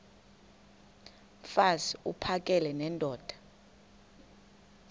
mfaz uphakele nendoda